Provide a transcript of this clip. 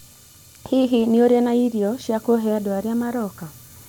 Hihi nĩ ũrĩ na irio cia kũhe andũ arĩa maroka?